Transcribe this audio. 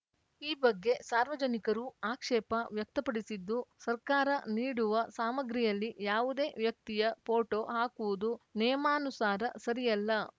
ಈ ಬಗ್ಗೆ ಸಾರ್ವಜನಿಕರೂ ಆಕ್ಷೇಪ ವ್ಯಕ್ತಪಡಿಸಿದ್ದು ಸರ್ಕಾರ ನೀಡುವ ಸಾಮಗ್ರಿಯಲ್ಲಿ ಯಾವುದೇ ವ್ಯಕ್ತಿಯ ಪೋಟೋ ಹಾಕುವುದು ನಿಯಮಾನುಸಾರ ಸರಿಯಲ್ಲ